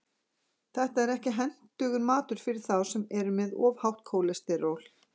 Þetta er ekki hentugur matur fyrir þá sem eru með of hátt kólesteról.